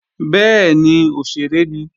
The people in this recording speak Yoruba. Bẹ́ẹ̀ni, òṣèré ni